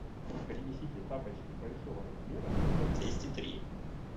принесите тапочки большого размера в номер двести три